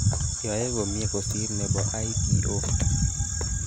yoe komye kosiir nebo i.p.o